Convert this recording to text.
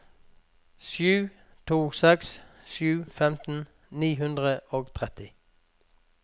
sju to seks sju femten ni hundre og tretti